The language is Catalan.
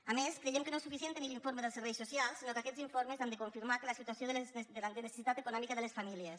a més creiem que no és suficient tenir l’informe dels serveis socials sinó que aquests informes han de confirmar la situació de necessitat econòmica de les famílies